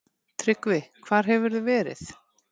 TRYGGVI: Hvar hefurðu verið?